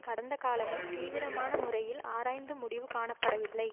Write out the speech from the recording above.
கடந்த காலமே தீவிரமான முறையில் ஆராய்ந்து முடிவு காணப்படவில்லை